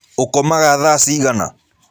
Ũkomaga thaa cigana?